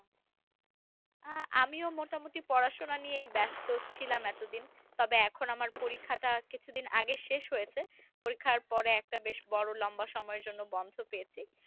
আহ আমিও মোটামুটি পড়াশুনা নিয়ে ব্যাস্ত ছিলাম এতোদিন তবে এখন আমার পরীক্ষা টা কিছুদিন আগে শেষ হয়েছে পরীক্ষার পরে একটা বেশ বড় লম্বা সময়য়ের জন্য বন্ধ পেয়েছি।